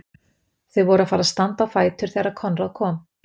Þau voru að fara að standa á fætur þegar Konráð kom aftur.